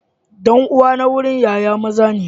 Dan uwa na gurin Yaya maza ne.